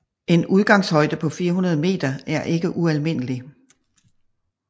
En udgangshøjde på 400 meter er ikke ualmindelig